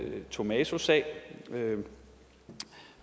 tomaso sag